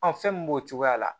fɛn min b'o cogoya la